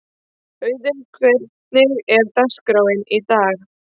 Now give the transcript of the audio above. Auðun, hvernig er dagskráin í dag?